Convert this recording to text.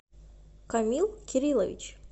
камил кириллович